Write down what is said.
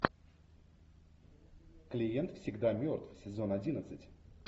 клиент всегда мертв сезон одиннадцать